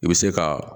I bɛ se ka